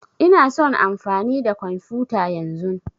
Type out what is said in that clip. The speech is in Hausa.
Ina son amfani da kwamfuta yanzun.